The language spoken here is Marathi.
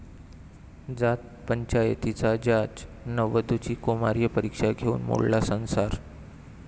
जात पंचायतीचा जाच, नववधूची कौमार्य परीक्षा घेऊन मोडला संसार!